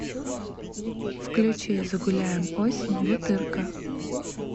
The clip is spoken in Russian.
включи загуляем осень бутырка